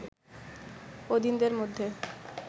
অধীনদের মধ্যে